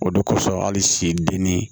O de kosɔn hali s'i denni